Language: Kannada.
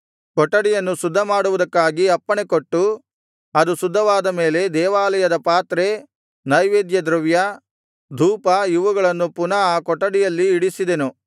ಕೊಠಡಿಯನ್ನು ಶುದ್ಧಮಾಡುವುದಕ್ಕಾಗಿ ಅಪ್ಪಣೆಕೊಟ್ಟು ಅದು ಶುದ್ಧವಾದ ಮೇಲೆ ದೇವಾಲಯದ ಪಾತ್ರೆ ನೈವೇದ್ಯದ್ರವ್ಯ ಧೂಪ ಇವುಗಳನ್ನು ಪುನಃ ಆ ಕೊಠಡಿಯಲ್ಲಿ ಇಡಿಸಿದೆನು